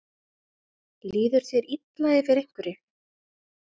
Líður þér illa yfir einhverju?